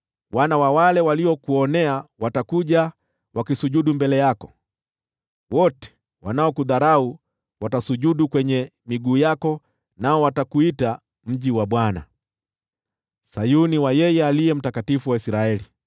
Wana wa wale waliokuonea watakuja wakisujudu mbele yako, wote wanaokudharau watasujudu kwenye miguu yako, nao watakuita Mji wa Bwana , Sayuni ya Aliye Mtakatifu wa Israeli.